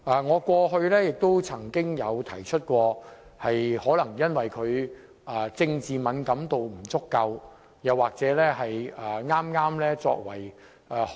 我過去曾經指出，這可能是因為她政治敏感度不足。